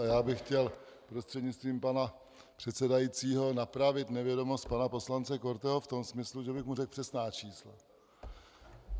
A já bych chtěl prostřednictvím pana předsedajícího napravit nevědomost pana poslance Korteho v tom smyslu, že bych mu řekl přesná čísla.